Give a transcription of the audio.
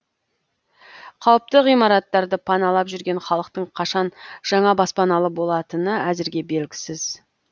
қауіпті ғимараттарды паналап жүрген халықтың қашан жаңа баспаналы болатыны әзірге белгісіз